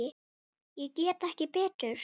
Ég get ekki betur.